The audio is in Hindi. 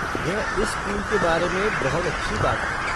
यह इस स्कूल के बारे में बहुत अच्छी बात है।